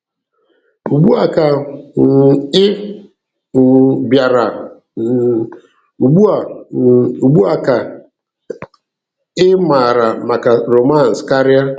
Ugbu a ka um ị um bịara, um ugbu a um ugbu a ka ị maara maka romance karịa.